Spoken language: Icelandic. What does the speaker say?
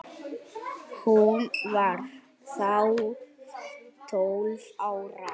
Hún var þá tólf ára.